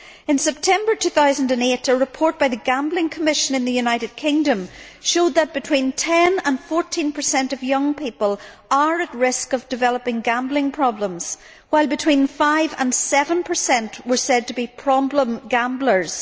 In September 2008, a report by the Gambling Commission in the United Kingdom showed that between 10 and 14 of young people are at risk of developing gambling problems, while between 5 and 7 were said to be problem gamblers.